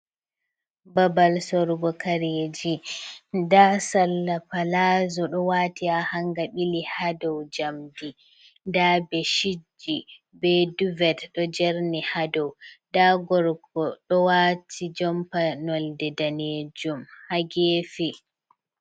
Babal sorugo kareji, nda salla palazo ɗo wati ha hanga ɓili ha dow jamdi, nda be shitji be duvet ɗo jerni ha dow nda gorko ɗo wati jompa nolde danejum ha gefe.